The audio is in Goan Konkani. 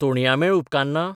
तोणयां मेळ उपकारना?